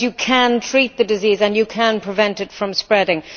because you can treat the disease and you can prevent it from spreading.